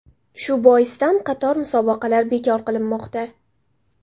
Shu boisdan qator musobaqalar bekor qilinmoqda.